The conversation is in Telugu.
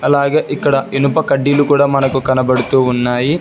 అలాగే ఇక్కడ ఇనుప కడ్డీలు కూడా మనకు కనబడుతూ ఉన్నాయి.